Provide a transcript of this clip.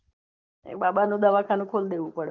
એક બાબા નું દવાખાનું ખોલ દેવું પડે